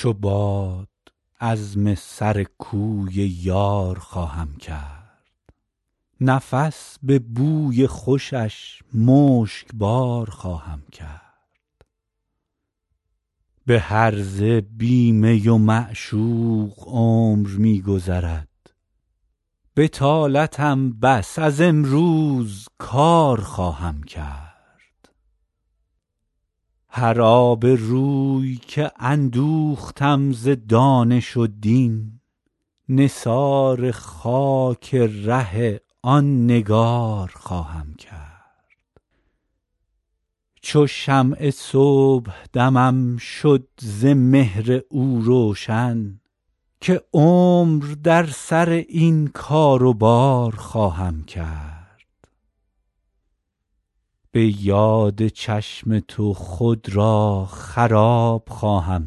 چو باد عزم سر کوی یار خواهم کرد نفس به بوی خوشش مشکبار خواهم کرد به هرزه بی می و معشوق عمر می گذرد بطالتم بس از امروز کار خواهم کرد هر آبروی که اندوختم ز دانش و دین نثار خاک ره آن نگار خواهم کرد چو شمع صبحدمم شد ز مهر او روشن که عمر در سر این کار و بار خواهم کرد به یاد چشم تو خود را خراب خواهم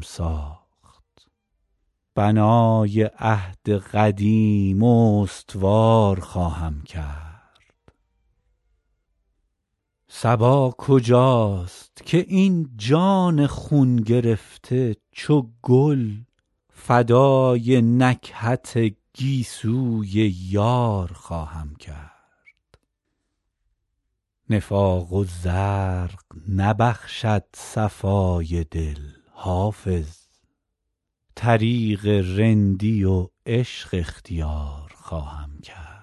ساخت بنای عهد قدیم استوار خواهم کرد صبا کجاست که این جان خون گرفته چو گل فدای نکهت گیسوی یار خواهم کرد نفاق و زرق نبخشد صفای دل حافظ طریق رندی و عشق اختیار خواهم کرد